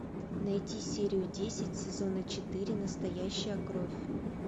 найти серию десять сезона четыре настоящая кровь